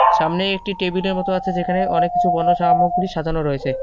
সামনেই একটি টেবিলের মতো আছে যেখানে অনেককিছু পণ্য সামগ্রী সাজানো রয়েছে।